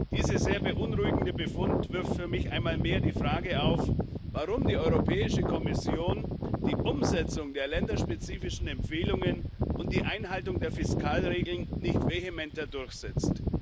Dieser sehr beunruhigende Befund wirft für mich einmal mehr die Frage auf, warum die Kommission die Umsetzung der länderspezifischen Empfehlungen und die Einhaltung der Fiskalregeln nicht vehementer durchsetzt.